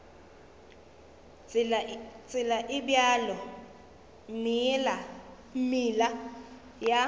tsela e bjalo meela ya